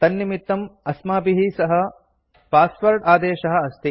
तन्निमित्तं अस्माभिः सह पास्वाद आदेशः अस्ति